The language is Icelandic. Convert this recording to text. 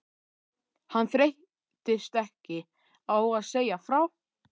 Hann þreyttist ekki á að segja frá